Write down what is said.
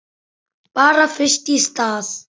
Bara fyrst í stað.